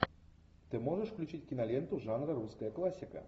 ты можешь включить киноленту жанра русская классика